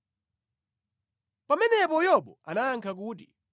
Pamenepo Yobu anayankha kuti,